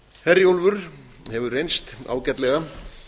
herjólfur hefur reynst ágætlega